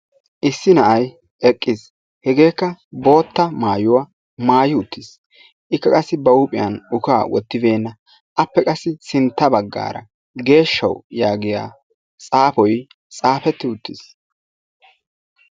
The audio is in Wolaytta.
Issi na'ay eqqiis. Hegeekka bootta maayuwaa maayi uuttiis. Ikka qassi ba huuphiyaan uqaa wottibenna. Appe qassi sintta baaggara geeshshaw yaagiyaa xaafoy xaafetti uttiis.